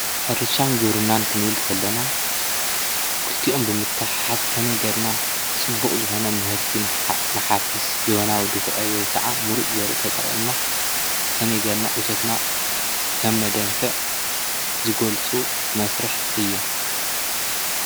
ሕርሻን ግብርናን ኽንብል ከለና ኽልቲኦሞ ብምትሕሓዝ ከመይ ጌርና ፅቡቅ ዝኾነ ምህርቱ ንሓፍስ ዘበናው ዱኽዒ ወይ ኸዓ ምሩፅ ዘርኢ ተጠቂምና ከመይ ጌርና እቶትና ከምነደንፍዕ ዝገልፁ መስርሕ እዮም።